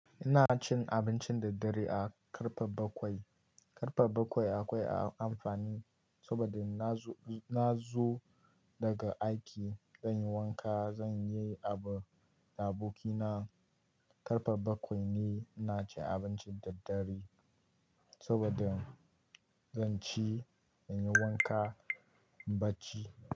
Ina cin abinci da dare da karfe bakwai. Karfe bakwai akwai amfani saboda na zo, na dawo daga aiki. Zan yi wanka, zan yi abu da abokina. Karfe bakwai ne ina cin abinci da dare saboda zan ci, zan yi wanka nayi bacci.